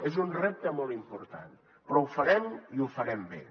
és un repte molt important però ho farem i ho farem bé